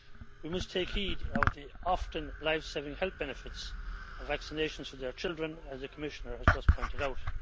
We must take heed of the often life saving health benefits of vaccinations for our children, as the Commissioner has just pointed out.